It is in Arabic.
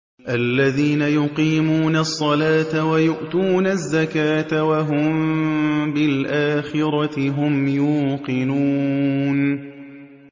الَّذِينَ يُقِيمُونَ الصَّلَاةَ وَيُؤْتُونَ الزَّكَاةَ وَهُم بِالْآخِرَةِ هُمْ يُوقِنُونَ